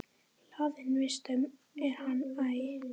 Hlaðinn vistum er hann æ.